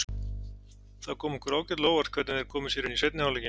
Það kom okkur ágætlega á óvart hvernig þeir komu sér inn í seinni hálfleikinn.